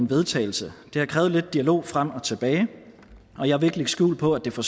vedtagelse det har krævet lidt dialog frem og tilbage og jeg vil ikke lægge skjul på at det for